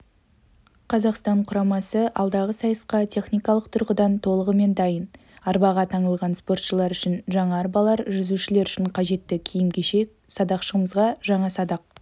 қазақстан құрамасы алдағы сайысқа техникалық тұрғыдан толығымен дайын арбаға таңылған спортшылар үшін жаңа арбалар жүзушілер үшін қажетті киім-кешек садақшымызға жаңа садақ